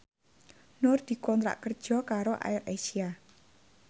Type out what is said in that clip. Nur dikontrak kerja karo AirAsia